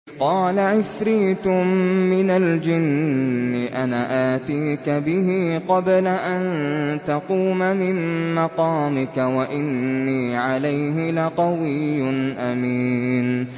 قَالَ عِفْرِيتٌ مِّنَ الْجِنِّ أَنَا آتِيكَ بِهِ قَبْلَ أَن تَقُومَ مِن مَّقَامِكَ ۖ وَإِنِّي عَلَيْهِ لَقَوِيٌّ أَمِينٌ